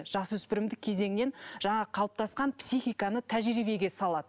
жасөспірімдік кезеңнен жаңағы қалыптасқан психиканы тәжірибеге салады